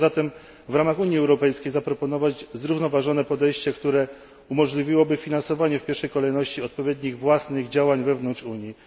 Warto zatem, w ramach Unii Europejskiej, zaproponować zrównoważone podejście, które umożliwiłoby finansowanie w pierwszej kolejności odpowiednich własnych działań wewnątrz Unii.